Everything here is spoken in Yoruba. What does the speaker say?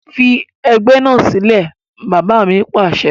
Fi ẹgbẹ́ náà sílẹ̀! Bàbá mi Pàṣẹ.